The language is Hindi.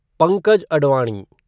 पंकज अडवाणी